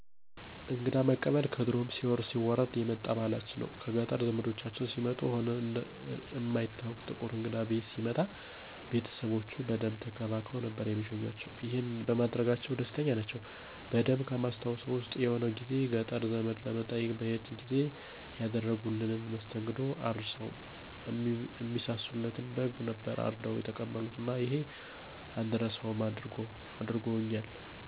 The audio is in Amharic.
እንግዳ መቀበል ከድሮም ሲወርድ ሲዋረድ የመጣ ባህላችን ነው። ከገጠር ዘምዶቻችን ሲመጡ ሆነ እማይታወቅ ጥቁር እንግዳ ቤት ሲመጣ ቤተሰቦቼ በደንብ ተንከባክበው ነበር እሚሸኙአቸው። ይሄንንም በማድረጋቸው ደስተኞች ናቸው። በደንብ ከማስታውሰው ዉስጥ የሆነ ጊዜ ገጠር ዘመድ ለመጠየቅ በሄድን ጊዜ ያደረጉልንን መስተንግዶ አረሳውም። እሚሳሱለትን በግ ነበር አርደው የተቀበሉን እና ይሄንን እንዳረሳው አድርጎኛል።